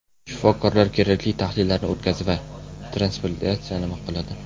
Shifokorlar kerakli tahlillarni o‘tkazdi va transplantatsiyani ma’qulladi.